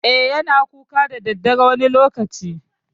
E, yana kuka da daddare wani lokaci.